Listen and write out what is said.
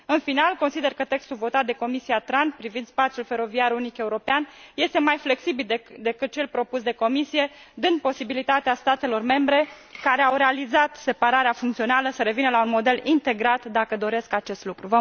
În final, consider că textul votat de Comisia pentru transport privind spațiul feroviar unic european este mai flexibil decât cel propus de Comisia Europeană, dând posibilitatea statelor membre, care au realizat separarea funcțională, să revină la un model integrat, dacă doresc acest lucru.